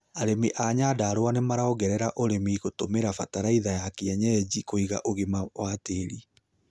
Arĩmi a Nyandarua nomaraongerera ũrĩmi gũtũmĩra bataraitha ya kienyenji kũiga ũĩgima wa tĩri